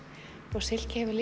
og silki hefur